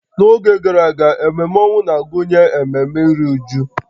N'oge gara aga, ememe ọnwụ na-agụnye ememe iru újú